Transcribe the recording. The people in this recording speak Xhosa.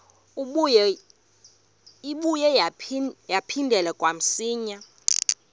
ibuye yaphindela kamsinya